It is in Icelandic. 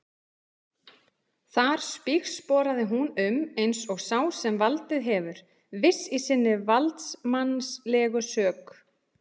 Þar spígsporaði hún um eins og sá sem valdið hefur, viss í sinni valdsmannslegu sök.